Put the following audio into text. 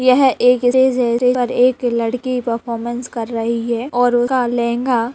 यह एक स्टेज है स्टेज पर एक लड़की परफॉरमेंस कर रही है और उसका लहंगा--